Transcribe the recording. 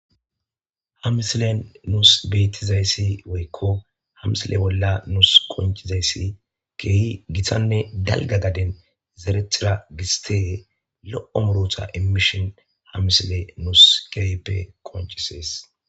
ha misile nuus bettizayssi woykko ha misile bolla nuus konchizayssi keehi gitanne dalga gaden zerethira gistee lo7o murota imishin ha misile nuus keeheppe konchisees